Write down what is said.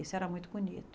Isso era muito bonito.